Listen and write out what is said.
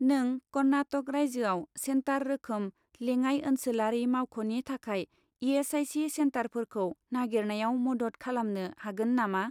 नों कर्नाटक रायजोआव सेन्टार रोखोम लेङाइ ओनसोलारि मावख'नि थाखाय इ.एस.आइ.सि. सेन्टारफोरखौ नागिरनायाव मदद खालामनो हागोन नामा ?